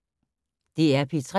DR P3